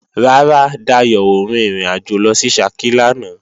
Rárá, Dayò ò rin ìrìnàjò lọ sí Ṣakí lánàá